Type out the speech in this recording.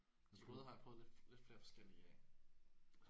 De krydrede har jeg prøvet lidt flere forskellige af